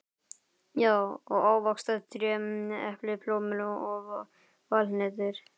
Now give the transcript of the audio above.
Já, og ávaxtatré: epli, plómur og valhnetur.